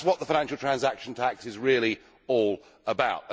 That is what the financial transaction tax is really all about.